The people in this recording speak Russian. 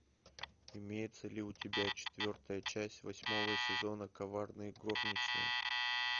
имеется ли у тебя четвертая часть восьмого сезона коварные горничные